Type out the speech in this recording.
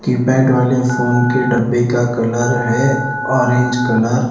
keypad वाले phone के डब्बे का कलर है ऑरेंज कलर --